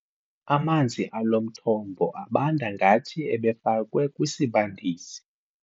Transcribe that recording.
Amanzi alo mthombo abanda ngathi ebefakwe kwisibandisi.